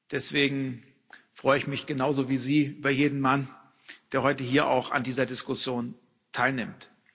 Deswegen freue ich mich genauso wie Sie über jeden Mann, der heute hier auch an dieser Diskussion teilnimmt.